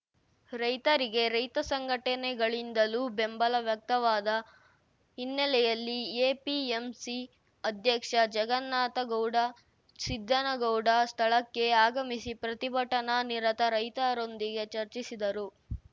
ರೈತರಿಗೆ ರೈತ ಸಂಘಟನೆಗಳಿಂದಲೂ ಬೆಂಬಲ ವ್ಯಕ್ತವಾದ ಹಿನ್ನೆಲೆಯಲ್ಲಿ ಎಪಿಎಂಸಿ ಅಧ್ಯಕ್ಷ ಜಗನ್ನಾಥಗೌಡ ಸಿದ್ದನಗೌಡ ಸ್ಥಳಕ್ಕೆ ಆಗಮಿಸಿ ಪ್ರತಿಭಟನಾ ನಿರತ ರೈತರೊಂದಿಗೆ ಚರ್ಚಿಸಿದರು